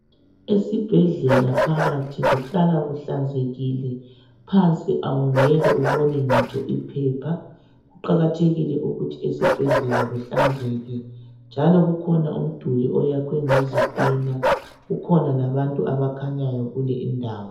Esibhedlela phakathi kuhlala kuhlanzekile, phansi awungeke ubone ngitsho iphepha. Kuqakathekile ukuthi esibhedlela kuhlanzeke njalo kukhona umduli oyakhwe ngezitina kukhona labantu abakhanyayo kule indawo.